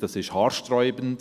ist haarsträubend.